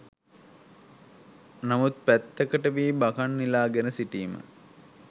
නමුත් පැත්තකට වී බකං නිලාගෙන සිටීම